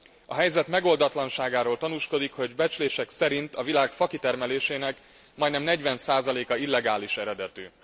A helyzet megoldatlanságáról tanúskodik, hogy becslések szerint a világ fakitermelésének majdnem 40 százaléka illegális eredetű.